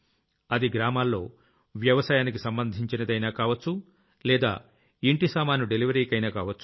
అది గ్రామాల్లో వ్యవసాయానికి సంబంధించైనా కావొచ్చు లేదా ఇంటి సామాను డెలివరీకైనా కావొచ్చు